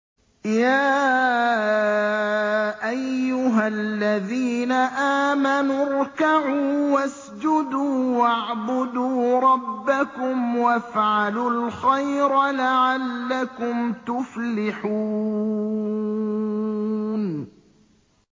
يَا أَيُّهَا الَّذِينَ آمَنُوا ارْكَعُوا وَاسْجُدُوا وَاعْبُدُوا رَبَّكُمْ وَافْعَلُوا الْخَيْرَ لَعَلَّكُمْ تُفْلِحُونَ ۩